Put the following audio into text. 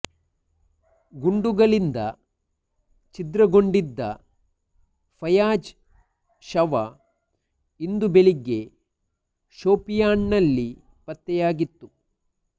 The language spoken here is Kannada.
ಗುಂಡುಗಳಿಂದ ಛಿದ್ರಗೊಂಡಿದ್ದ ಫಯಾಜ್ ಶವ ಇಂದು ಬೆಳಿಗ್ಗೆ ಶೋಪಿಯಾನ್ನಲ್ಲಿ ಪತ್ತೆಯಾಗಿತ್ತು